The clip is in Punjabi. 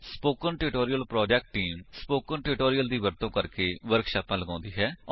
spoken tutorial project team spoken tutorial ਦਾ ਵਰਤੋ ਕਰਕੇ ਵਰਕਸ਼ਾਪਾਂ ਲਗਾਉਂਦੀ ਹੈ